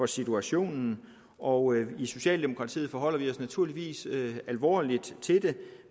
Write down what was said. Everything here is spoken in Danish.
situationen og i socialdemokratiet forholder vi os naturligvis alvorligt til det